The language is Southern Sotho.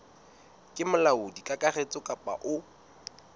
ke molaodi kakaretso kapa o